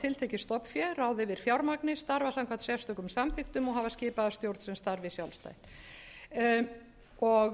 tiltekið stofnfé ráða yfir fjármagni starfa samkvæmt sérstökum samþykktum og hafa skipaða stjórn sem starfi